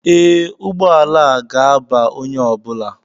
Ee, ụgbọala a ga-aba onye ọ bụla